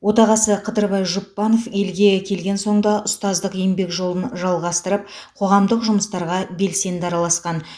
отағасы қыдырбай жұпбанов елге келген соң да ұстаздық еңбек жолын жалғастырып қоғамдық жұмыстарға белсенді араласқан